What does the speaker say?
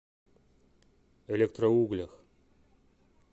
электроуглях